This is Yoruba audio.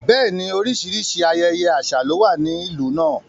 Bẹ́ẹ̀ni, oríṣiríṣi ayẹyẹ àṣà ló wà ní ìlú náà.